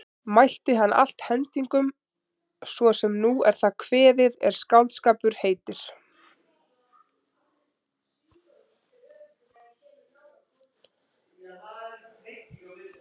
Mælti hann allt hendingum svo sem nú er það kveðið er skáldskapur heitir.